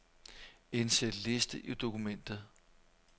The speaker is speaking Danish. Indsæt liste i dokumentet.